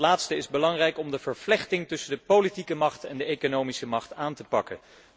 Dat laatste is belangrijk om de vervlechting tussen de politieke macht en de economische macht aan te pakken.